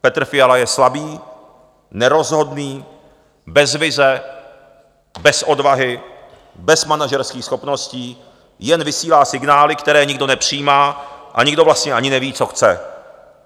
Petr Fiala je slabý, nerozhodný, bez vize, bez odvahy, bez manažerských schopností, jen vysílá signály, které nikdo nepřijímá, a nikdo vlastně ani neví, co chce.